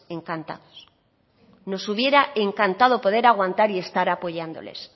encantados nos hubiera encantado poder aguantar y estar apoyándoles